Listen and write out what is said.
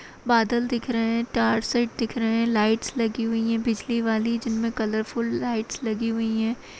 बादल दिख रहे हैं तार सेट दिख रहे हैं लाइटस लगी हुई हैं बिजली वाली जिनमे कलरफुल लाइटस लगी हुई हैं।